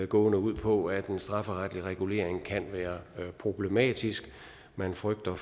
gående ud på at en strafferetlig regulering kan være problematisk man frygter